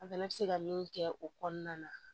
An fana bɛ se ka min kɛ o kɔnɔna na